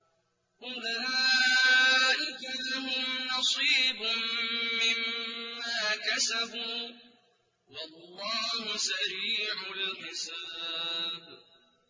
أُولَٰئِكَ لَهُمْ نَصِيبٌ مِّمَّا كَسَبُوا ۚ وَاللَّهُ سَرِيعُ الْحِسَابِ